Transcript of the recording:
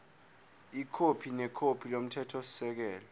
ikhophi nekhophi yomthethosisekelo